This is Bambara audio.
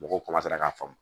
Mɔgɔw k'a faamu